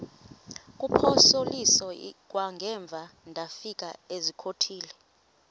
kuphosiliso kwangaemva ndafikezizikotile